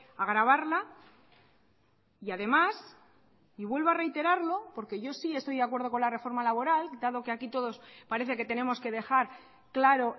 agravarla y además y vuelvo a reiterarlo porque yo sí estoy de acuerdo con la reforma laboral dado que aquí todos parece que tenemos que dejar claro